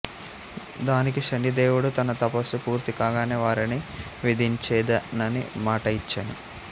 దానికి శనిదేవుడు తన తపస్సు పూర్తి కాగానే వారిని వధించెదనని మాట యిచ్చెను